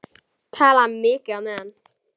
Tala mikið á meðan.